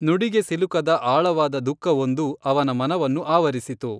ನುಡಿಗೆ ಸಿಲುಕದ ಆಳವಾದ ದುಃಖವೊಂದು ಅವನ ಮನವನ್ನು ಆವರಿಸಿತು.